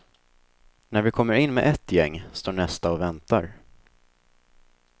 När vi kommer in med ett gäng, står nästa och väntar.